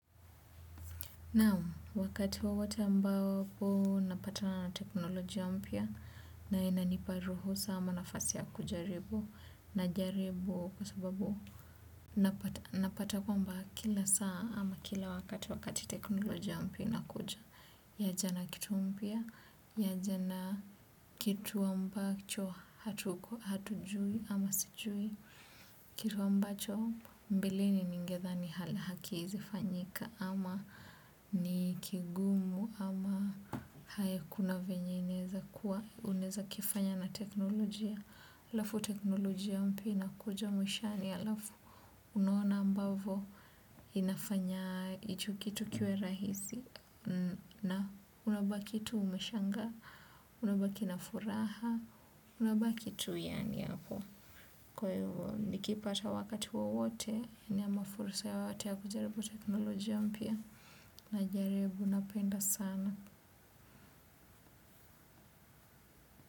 Na wakati wowote ambapo napatana na teknolojia mpya na inanipa ruhusa ama nafasi ya kujaribu na jaribu kwa sababu napata kwamba kila saa ama kila wakati wakati teknolojia mpya ina kuja. Ya jana kitu mpya, ya jana kitu ambacho hatujui ama sijui kitu ambacho mbeleni ningedha ni hala haki hizi fanyika ama ni kigumu ama hakuna venye neza kuwa uneza kifanya na teknolojia alafu teknolojia mpina kuja mwishani yalafu unuona ambavo inafanya icho kitu kiwe rahisi na unabaki tu umeshangaa, unabaki nafuraha, unaba kitu yani yako. Kwa hivo nikipata wakati wowote ni ama fursa yoyote ya kujaribu teknolojia mpya najaribu napenda sana.